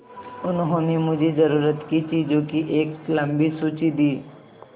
उन्होंने मुझे ज़रूरत की चीज़ों की एक लम्बी सूची दी